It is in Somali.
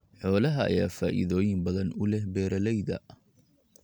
Xoolaha ayaa faa'iidooyin badan u leh beeralayda.